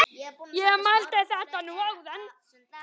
Ég mældi þetta nú áðan.